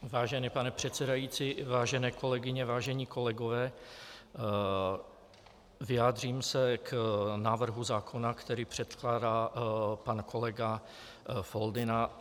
Vážený pane předsedající, vážené kolegyně, vážení kolegové, vyjádřím se k návrhu zákona, který předkládá pan kolega Foldyna.